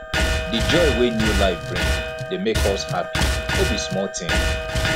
di joy wey new life bring dey make us happy no be small tin